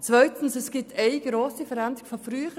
Zweitens gibt es eine grosse Veränderung gegenüber früher: